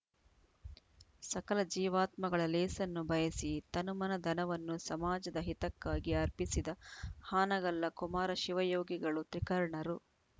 ಸಕಲ ಜೀವಾತ್ಮಗಳ ಲೇಸನ್ನು ಬಯಸಿ ತನುಮನಧನವನ್ನು ಸಮಾಜದ ಹಿತಕ್ಕಾಗಿ ಅರ್ಪಿಸಿದ ಹಾನಗಲ್ಲ ಕುಮಾರಶಿವಯೋಗಿಗಳು ತ್ರಿಕರ್ಣರು